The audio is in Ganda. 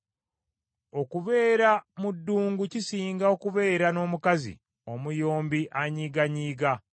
Okubeera mu ddungu, kisinga okubeera n’omukazi omuyombi anyiiganyiiga.